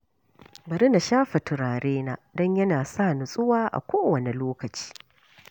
Bari na shafa turarena don yana sa nutsuwa a kowane lokaci.